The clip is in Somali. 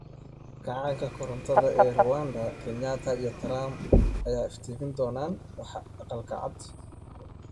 Kacaanka korontada ee Rwanda' Kenyatta iyo Trump ayaa iftiimin doona waxa Aqalka Cad?